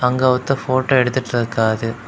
அங்க ஒருத்தர் போட்டோ எடுத்துட்ருக்காரு.